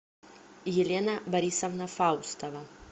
елена борисовна фаустова